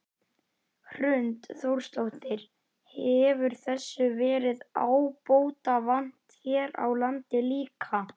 Hrund Þórsdóttir: Hefur þessu verið ábótavant hér á landi líka?